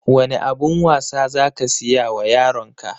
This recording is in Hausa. Wane abun wasa za ka siya wa yaron ka?